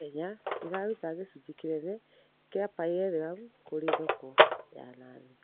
Kenya ĩraruta gĩcunjĩ kĩnene kĩa pyrethrum kũrĩ thoko ya thĩ